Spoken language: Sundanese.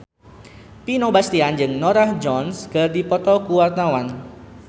Vino Bastian jeung Norah Jones keur dipoto ku wartawan